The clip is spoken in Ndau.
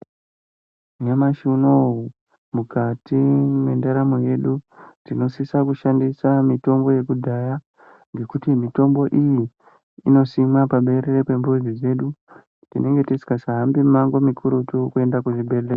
Nyamashi unowu mukati mwendaramo yedu tinosisa kushandisa mitombo yekudhaya ngekuti mitombo iyi inosimwa paberere pemuzi dzedu. Tinenge tisingasa hambi mumango mikurutu kuenda kuzvibhehleya.